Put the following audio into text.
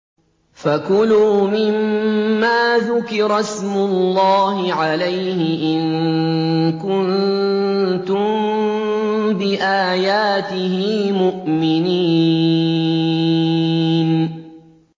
فَكُلُوا مِمَّا ذُكِرَ اسْمُ اللَّهِ عَلَيْهِ إِن كُنتُم بِآيَاتِهِ مُؤْمِنِينَ